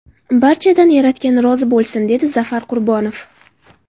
Barchadan yaratgan rozi bo‘lsin”, dedi Zafar Qurbonov.